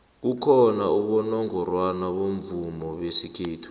kukhona abonongorwana bomvumo besikhethu